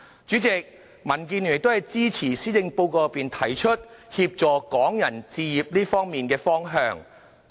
主席，民建聯亦支持施政報告內，提出協助港人置業的方向。